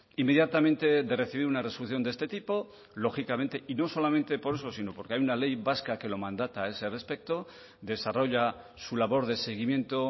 inmediatamente de recibir una resolución de este tipo lógicamente y no solamente por eso sino porque hay una ley vasca que lo mandata a ese respecto desarrolla su labor de seguimiento